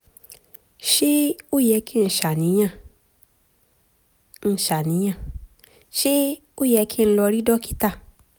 ṣé ó yẹ kí n ṣàníyàn? n ṣàníyàn? ṣé ó yẹ kí n lọ rí dókítà?